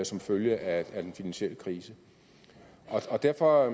som følge af den finansielle krise derfor er